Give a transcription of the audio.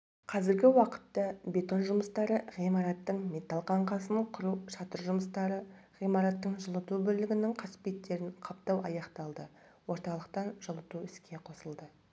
қазіргі уақытта бетон жұмыстары ғимараттың металл қаңқасын құру шатыр жұмыстары ғимараттың жылыту бөлігінің қасбеттерін қаптау аяқталды орталықтан жылыту іске қосылды